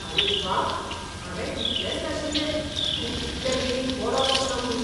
आरे व्वा! हावें चिंतलेंच नाशिल्लें तूं इतले बेगीन बरो जातलो म्हूण.